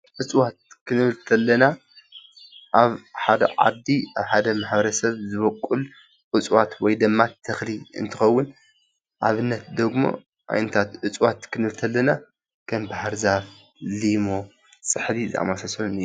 እፅዋት ክንብል ተለና ኣብ ሓደ ዓዲ ኣብ ሓደ ማሕበረሰብ ዝቦቁል እፅዋት ወይ ድማ ተኽሊ እንትኸዉን ኣብነት ደሞ ዓይነታት እፅዋት ክንብልተለና ከም ባህርዛፍ፣ ሊሞ፣ ፅሕዲ ዝኣመሳሰሉ እዮም፡፡